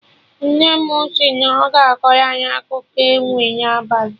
Nne mụ si na ọ ga-akọrọ anyị akụkọ enwe na abalị